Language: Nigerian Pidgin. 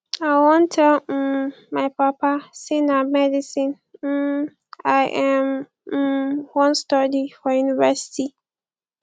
i wan tell um my papa say na medicine um i um um wan study for university